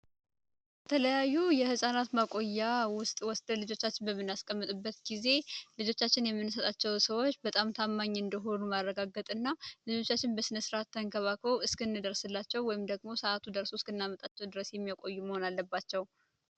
የተለያዩ የህፃናት መቆያ ውስጥ ወስደን ልጆቻችን በሚያስቀምጥበት ጊዜ ልጆቻችን የምንሰጣቸው ሰዎች በጣም ታማኝ እንደሆኑ ማረጋገጠ እና ልጆቻችን በስነስርአት ተንከባብክበው እስክንደርስላቸው ወይም ደግሞ ሰአቱ ደርሶ እስክናመጣቸው ድረስ የሚያቆዩ መሆን አለባቸው።